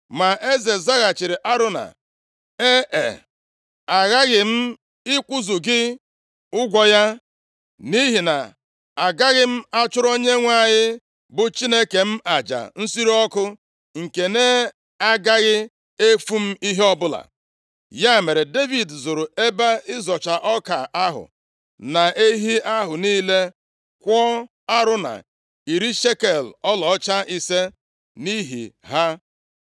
Ma eze zaghachiri Arauna, “Ee, aghaghị m ịkwụzu gị ụgwụ ya, nʼihi na agaghị m achụrụ Onyenwe anyị, bụ Chineke m aja nsure ọkụ nke na-agaghị efu m ihe ọbụla.” Ya mere, Devid zụrụ ebe ịzọcha ọka ahụ na ehi ahụ niile, kwụọ Arauna iri shekel ọlaọcha ise, nʼihi ha.